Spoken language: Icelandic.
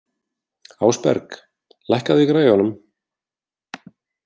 Ásberg, lækkaðu í græjunum.